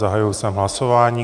Zahájil jsem hlasování.